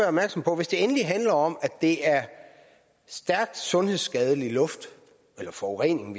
opmærksom på at hvis det endelig handler om at det er stærkt sundhedsskadelig luft eller forurening